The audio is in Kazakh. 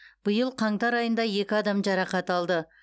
биыл қаңтар айында екі адам жарақат алды